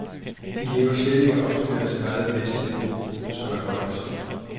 De lever slet ikke op til deres eget bedste niveau, som er højt.